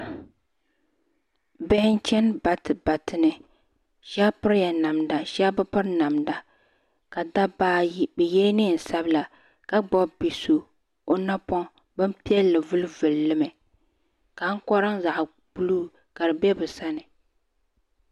Bihi n chani bati bati ni shaba piri la namda shaba mi bi piri ka dabba ayi bi yɛla niɛn sabila ka gbubi bia so o napɔŋ bin piɛlli vuli vuli li mi ka ankɔra zaɣa buluu ka di bɛ bi sani.